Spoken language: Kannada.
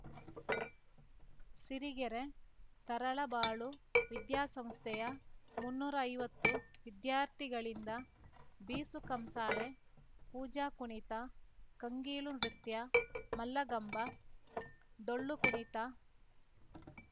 ಸಿರಿಗೆರೆ ತರಳಬಾಳು ವಿದ್ಯಾಸಂಸ್ಥೆಯ ಮುನ್ನೂರೈವತ್ತು ವಿದ್ಯಾರ್ಥಿಗಳಿಂದ ಬೀಸುಕಂಸಾಳೆ ಪೂಜಾ ಕುಣಿತ ಕಂಗೀಲು ನೃತ್ಯ ಮಲ್ಲಗಂಬ ಡೊಳ್ಳು ಕುಣಿತ